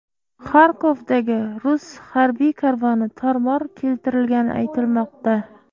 Xarkovdagi rus harbiy karvoni tor-mor keltirilgani aytilmoqda.